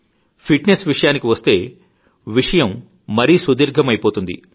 fit Nes విషయానికి వస్తే విషయం మరీ సుదీర్ఘమైపోతుంది